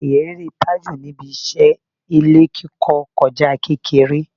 Ìrírí Tájù níbi iṣẹ́ ilé kíkọ kọjá kékeré